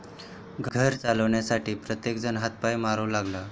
घर चालवण्यासाठी प्रत्येकजण हातपाय मारू लागला.